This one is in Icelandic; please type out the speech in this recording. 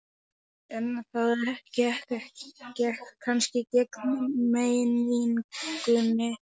En það gekk kannski gegn meiningunni.